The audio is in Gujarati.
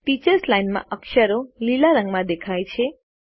ટીચર્સ લાઇન માં અક્ષરો લીલા રંગમાં બદલાય છે